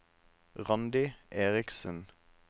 Randi Eriksen